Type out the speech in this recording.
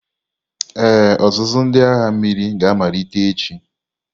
Ee, ọzụzụ ndị agha mmiri ga-amalite echi.